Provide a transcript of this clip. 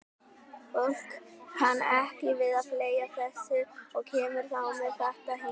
Fólk kann ekki við að fleygja þessu og kemur þá með þetta hingað.